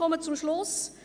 ich komme zum Schluss.